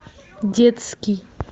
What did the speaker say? детский